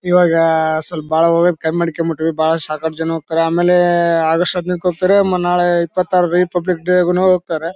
ಇವಾಗ ಸ್ವಲ್ಪ ಬಹಳ ಹೋಗೋದು ಕಡಿಮೆ ಮಾಡ್ಕೊಂಡು ಬಿಟ್ವಿ ಬಹಳ ಸಾಕಷ್ಟು ಜನ ಹೋಗ್ತಾರೆ ಆಮೇಲೆ ಆಗಸ್ಟ್ ಹದಿನೈದು ಮ ನಾಳೆ ಇಪ್ಪತ್ತ ಆರು ರಿಪಬ್ಲಿಕ್ ಡೇ ಗುನು ಹೋಗ್ತಾರೆ.